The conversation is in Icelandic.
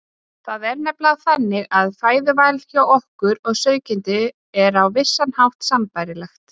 Það er nefnilega þannig að fæðuvalið hjá okkur og sauðkindinni er á vissan hátt sambærilegt.